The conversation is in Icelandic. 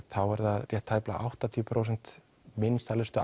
þá er það rétt tæplega áttatíu prósent vinsælustu